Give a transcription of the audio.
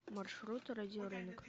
маршрут радиорынок